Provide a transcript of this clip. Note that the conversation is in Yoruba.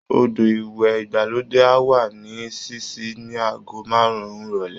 Odò ìwẹ̀ ìgbàlódé á wà ní ṣíṣí ní aago márùn-ún ìrọ̀lẹ́